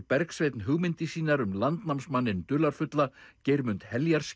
Bergsveinn hugmyndir sínar um dularfulla Geirmund